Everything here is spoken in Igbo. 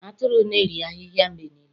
Atụrụ na-eri ahịhịa mgbe niile